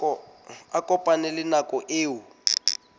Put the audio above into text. a kopane le nako eo